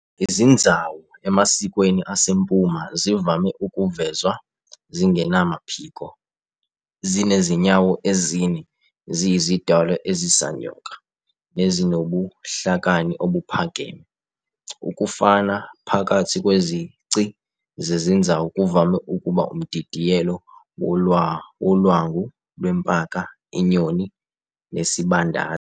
Izinzawu emasikweni asempuma zivame ukuvezwa zingenamaphiko, zinezinyawo ezine, ziyizidalwa ezisanyoka nezinobuhlakani obuphakeme. Ukufana phakathi kwezici zezinzawu kuvame ukuba umdidiyelo wolwangu lwempaka, inyoni, nesibandazi.